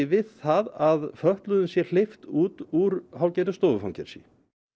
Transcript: við það að fötluðum sé hleypt út úr hálfgerðu stofufangelsi